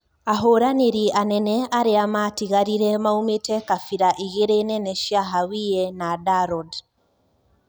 Ahũranirĩ anene aria matigarire maumite kabira igiri nene cia Hawiye na Darod.